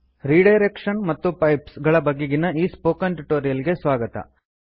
redirection ಮತ್ತು pipes ಗಳ ಬಗೆಗಿನ ಈ ಸ್ಪೋಕನ್ ಟ್ಯುಟೋರಿಯಲ್ ಗೆ ಸ್ವಾಗತ